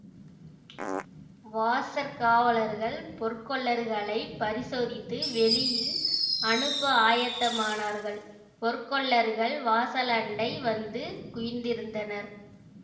வாசற் காவலர்கள் பொற்கொல்லர்களைப் பரிசோதித்து வெளியில் அனுப்ப ஆயத்தமானார்கள் பொற்கொல்லர்கள் வாசலண்டை வந்து குவிந்திருந்தனர்